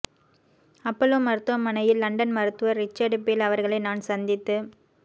Apollo மருத்துவமனையில் London மருத்துவர் Richard Beale அவர்களை நான் சந்தித்துப்